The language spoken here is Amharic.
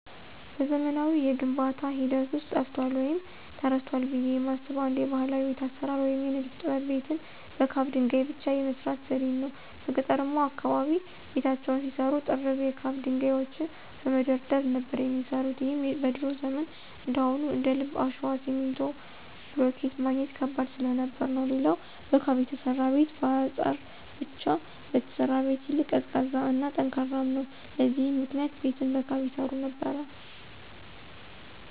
በዘመናዊው የግንባታ ሂደት ውስጥ ጠፍቷል ወይም ተረስቷል ብየ የማስበው አንድ ባህላዊ የቤት አሰራር ወይም የንድፍ ጥበብ ቤትን በካብ ድንገይ ብቻ የመስራት ዘዴን ነው። በገጠርማው አካባቢ ቤታቸውን ሲሰሩ ጥርብ የካብ ድንጋዮችን በመደርደር ነበር የሚሰሩት ይህም በድሮ ዘመን እንዳሁኑ እንደልብ አሸዋ፣ ሲሚንቶ፣ ብሎኬት ማግኘት ከባድ ስለነበር ነው። ሌላው በካብ የተሰራ ቤት በአጸር ብቻ ከተሰራ ቤት ይልቅ ቀዝቃዛ እና ጠንካራም ነው። ለዚህም ምክንያት ቤትን በካብ ይሰሩ ነበር።